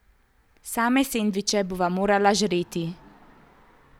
Same sendviče bova morala žreti.